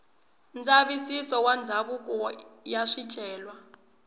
ndzavisiso wa ndhawu ya swicelwa